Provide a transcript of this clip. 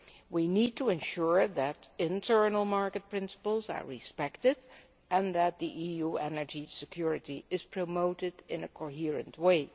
We need to ensure that internal market principles are respected and that EU energy security is promoted in a coherent way.